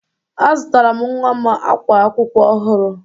Azụtara m nwa m ákwá akwụkwọ ọhụrụ.